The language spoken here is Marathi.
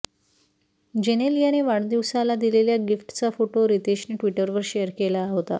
जेनेलियाने वाढदिवसाला दिलेल्या गिफ्टचा फोटो रितेशने ट्विटरवर शेअर केला होता